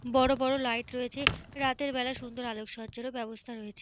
বড় বড় লাইট রয়েছে। রাতের বেলা সুন্দর আলোকসজ্জার ব্যবস্থা রয়েছে।